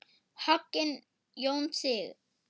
Hogginn Jón Sig.